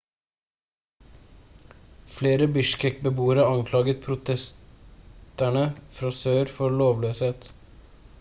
flere bishkek-beboere anklaget protesterene fra sør for lovløsheten